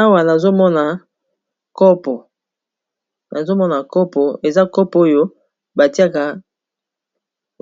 awa nazomona kopo eza kopo oyo batiaka